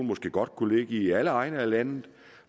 måske godt kunne ligge i alle egne af landet